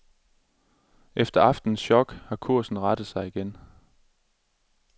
Efter aftenens chok har kursen rettet sig igen.